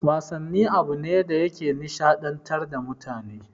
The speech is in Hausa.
Wasanni abune da yake nishaɗantar da mutane